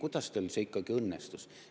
Kuidas see teil ikkagi õnnestus?